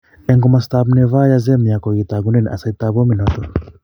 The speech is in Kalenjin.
en komostap Novaya Zemya. Kogitagunen asaitap bominoton